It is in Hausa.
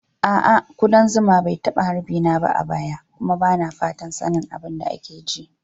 A'a, kudan zuma ba a taba harbi na ba a baya kuma ba na fatan sanin abin da ke ji.